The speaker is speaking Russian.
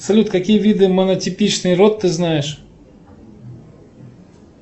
салют какие виды монотипичный род ты знаешь